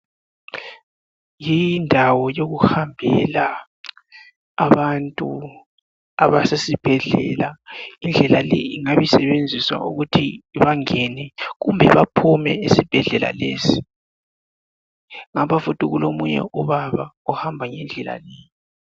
Indawo yokuhambela abantu abasesibhedlela indlela le ingabe isebenziswa ukuthi bangene kumbe baphume esibhedlela lesi ngapha futhi kulomunye ubaba ohamba ngendlela le